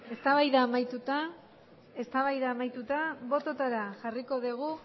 eztabaida amaituta bototara jarriko dugu